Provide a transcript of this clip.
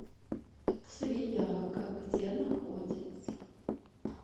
свияга где находится